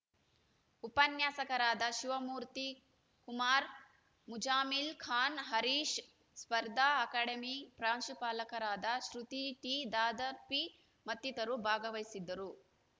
ಉಪನ್ಯಾಸಕರಾದ ಶಿವಮೂರ್ತಿ ಕುಮಾರ್‌ ಮುಜಾಮಿಲ್‌ ಖಾನ್‌ ಹರೀಶ್‌ ಸ್ಪರ್ಧಾ ಅಕಾಡೆಮಿ ಪ್ರಾಂಶುಪಾಲಕರಾದ ಶೃತಿ ಟಿ ದಾದಾಪೀರ್‌ ಮತ್ತಿತರರು ಭಾಗವಹಿಸಿದ್ದರು